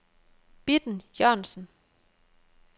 Bitten Jørgensen